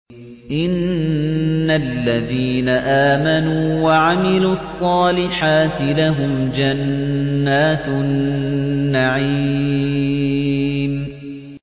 إِنَّ الَّذِينَ آمَنُوا وَعَمِلُوا الصَّالِحَاتِ لَهُمْ جَنَّاتُ النَّعِيمِ